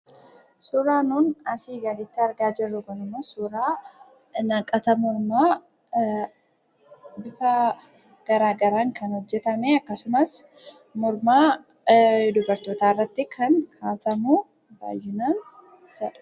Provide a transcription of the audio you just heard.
Suuraan nuti asii gaditti argaa jirru kunimmoo suuraa naqata mormaa bifa garaagaraan kan hojjatamee akkasumas morma dubartootaa irratti kan kaa'atamu baay'inaan akkasidha.